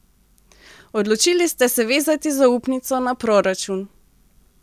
Odločili ste se vezati zaupnico na proračun.